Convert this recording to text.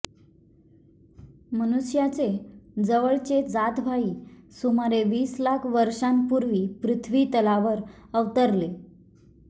मनुष्याचे जवळचे जातभाई सुमारे वीस लाख वर्षांपूर्वी पृथ्वीतलावर अवतरले